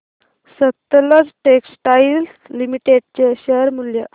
Sutlej textiles limited चे share मूल्य